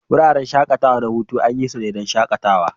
Wuraren shakatawa na hutu an yi su ne don shakatawa.